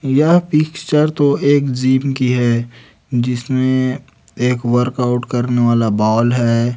यह पिक्चर तो एक जिम की है जिसमें एक वर्कआउट करने वाला बॉल है।